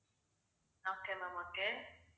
okay ma'am okay